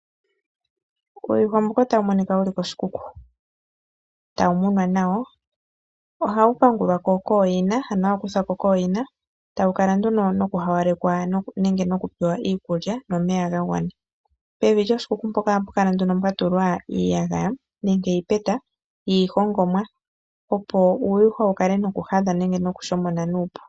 Uuyuhwa mbuka otawu monika wu li koshikuku tawu muna naw. Ohawu pangulwa ko kooyina ano hawu kuthwa ko kooyina tawu kala nduno noku hawaleka nenge noku pewa iikulya nomeya ga gwana. Pevi lyoshikuku mpoka oha pu kala nduno pwa tulwa iiyagaya nenge iipeta yiihongomwa opo uuyuhwa wu kale noku hadha nenge nokushomona nuupu.